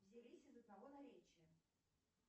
взялись из одного наречия